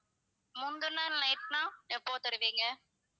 முந்தின நாள் night னா எப்போ தருவீங்க?